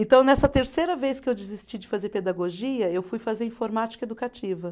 Então, nessa terceira vez que eu desisti de fazer pedagogia, eu fui fazer informática educativa.